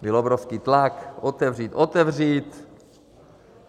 Byl obrovský tlak: otevřít, otevřít.